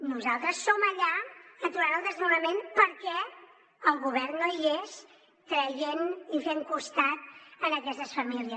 nosaltres som allà aturant el desnonament perquè el govern no hi és creient i fent costat a aquestes famílies